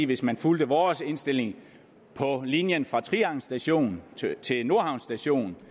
hvis man fulgte vores indstilling på linjen fra trianglen station til nordhavn station